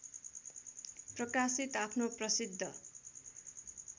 प्रकाशित आफ्नो प्रसिद्ध